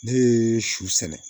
Ne ye su sɛnɛ